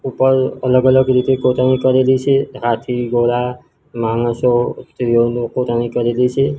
ઉપર અલગ અલગ રીતે કોતરણી કરેલી છે હાથી ઘોડા માણસો સ્ત્રીઓનુ કોતરણી કરેલી છે.